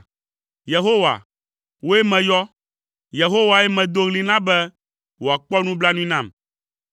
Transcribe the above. Yehowa, wòe meyɔ, Yehowae medo ɣli na be wòakpɔ nublanui nam.